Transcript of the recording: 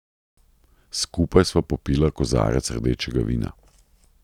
Skupaj sva popila kozarec rdečega vina.